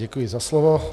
Děkuji za slovo.